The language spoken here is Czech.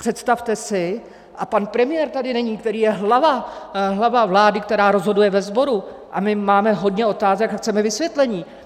Představte si - a pan premiér tady není, který je hlava vlády, která rozhoduje ve sboru, a my máme hodně otázek a chceme vysvětlení.